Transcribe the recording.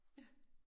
Ja